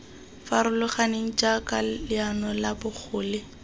farologaneng jaaka leano la bogole